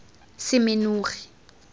semenogi